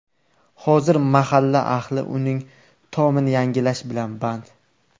Hozir mahalla ahli uning tomini yangilash bilan band.